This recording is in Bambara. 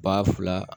Ba fila